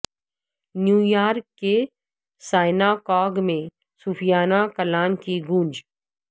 new York کے synagogue میں صوفیانہ کلام کی گونج